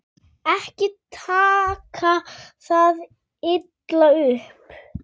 Ekki taka það illa upp.